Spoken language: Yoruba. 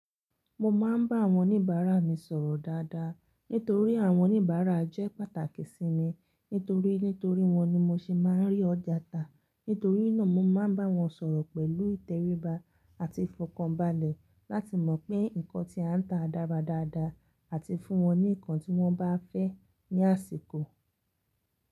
Mo máa ń bá àwọn oníbàárà mi sọ̀rọ̀ dáadáa, nítorí àwọn oníbàárà jẹ́ pàtàkì sí mi, nítorí nítorí wọ́n ni mo ṣe máa ń rí ọ̀jà tà. Nítorí náà mo máa ń bá wọn sọ̀rọ̀ pẹ̀lú ìtẹríba àti ìfọ̀kànbalẹ̀ láti mọ̀ pé nǹkan tí a ń tà dára dáadáa, àti fún wọn ní ǹkan tí wọ́n bá fẹ́ ní àsìkò.